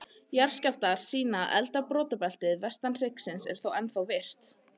Jarðskjálftar sýna að eldra brotabeltið, vestan hryggjarins, er þó ennþá virkt.